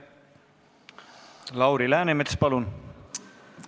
Lauri Läänemets, palun!